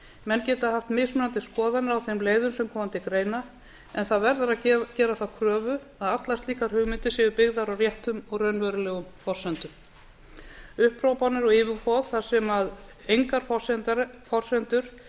menn geta haft mismunandi skoðanir á þeim leiðum sem koma til greina en það verður að gera þá kröfu að allar slíkar hugmyndir séu byggðar á réttum og raunverulegum forsendum upphrópanir og yfirboð þar sem engar forsendur